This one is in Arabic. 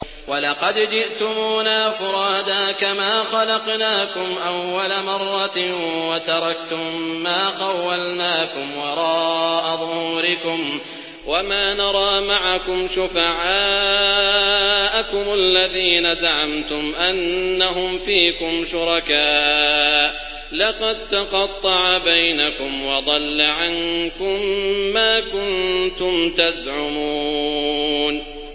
وَلَقَدْ جِئْتُمُونَا فُرَادَىٰ كَمَا خَلَقْنَاكُمْ أَوَّلَ مَرَّةٍ وَتَرَكْتُم مَّا خَوَّلْنَاكُمْ وَرَاءَ ظُهُورِكُمْ ۖ وَمَا نَرَىٰ مَعَكُمْ شُفَعَاءَكُمُ الَّذِينَ زَعَمْتُمْ أَنَّهُمْ فِيكُمْ شُرَكَاءُ ۚ لَقَد تَّقَطَّعَ بَيْنَكُمْ وَضَلَّ عَنكُم مَّا كُنتُمْ تَزْعُمُونَ